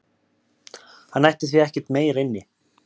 Hann ætti því ekkert meira inni